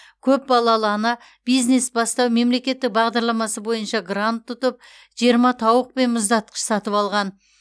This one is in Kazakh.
көпбалалы ана бизнес бастау мемлекеттік бағдарламасы бойынша грант ұтып жиырма тауық пен мұздатқыш сатып алған